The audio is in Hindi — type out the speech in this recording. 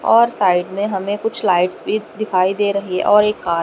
और साइड में हमें कुछ लाइट्स भी दिखाई दे रही और एक कार --